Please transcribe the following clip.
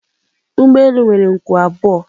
Ụgbọ elu nwere nku abụọ